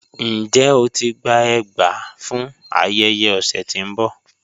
Njẹ́ o ti gbà ègbà fún ayéyẹ ọsẹ tí n bọ?